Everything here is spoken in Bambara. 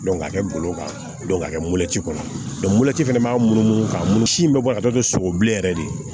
k'a kɛ ngolo kan k'a kɛ mɔti kɔnɔ fɛnɛ b'a munumunu ka munumunsi in bɛ bɔ ka taa don sogo bilen yɛrɛ de